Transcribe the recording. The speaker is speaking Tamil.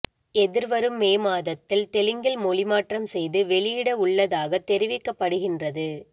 எதிர்வரும் மே மாதத்தில் தெலுங்கில் மொழிமாற்றம் செய்து வெளியிட உள்ளதாக தெரிவிக்கப்படுகின்றது